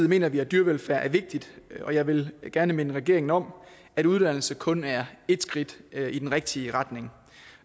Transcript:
mener vi at dyrevelfærd er vigtig og jeg vil gerne minde regeringen om at uddannelse kun er et skridt i den rigtige retning og